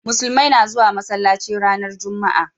musulmai na zuwa masallaci ranar jumma'a